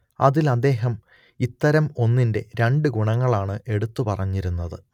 അതിൽ അദ്ദേഹം ഇത്തരം ഒന്നിന്റെ രണ്ട് ഗുണങ്ങളാണ് എടുത്തു പറഞ്ഞിരുന്നത്